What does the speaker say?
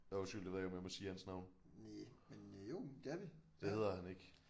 Nåh undskyld det ved jeg ved ikke om jeg må sige hans navn. Det hedder han ikke